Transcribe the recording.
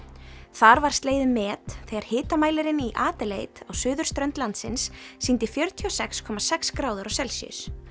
þar var slegið met þegar hitamælirinn í á suðurströnd landsins sýndi fjörutíu og sex komma sex gráður á Celsíus